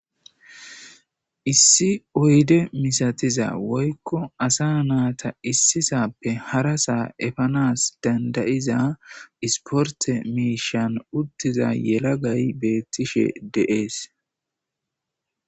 Issi oyde misatiza woyko asa nata isisape harasa efanas danda'iza isporte mishan utiza yelagay betishe de'es.